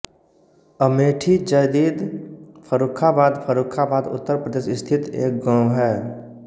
अमेठी जदीद फर्रुखाबाद फर्रुखाबाद उत्तर प्रदेश स्थित एक गाँव है